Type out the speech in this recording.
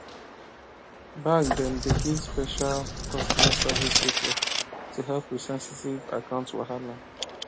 bank dem dey give special customer service pipo to help with sensitive account wahala